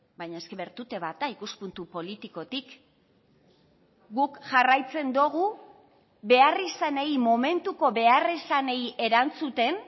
baina es que bertute bat da ikuspuntu politikotik guk jarraitzen dugu beharrizanei momentuko beharrizanei erantzuten